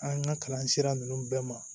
An ka kalan sira ninnu bɛɛ ma